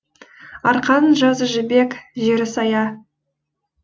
арқаның жазы жібек жері сая